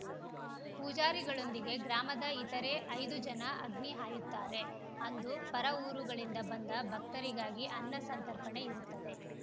ಪೂಜಾರಿಗಳೊಂದಿಗೆ ಗ್ರಾಮದ ಇತರೆ ಐದು ಜನ ಅಗ್ನಿ ಹಾಯುತ್ತಾರೆ ಅಂದು ಪರ ಊರುಗಳಿಂದ ಬಂದ ಭಕ್ತರಿಗಾಗಿ ಅನ್ನ ಸಂತರ್ಪಣೆ ಇರುತ್ತದೆ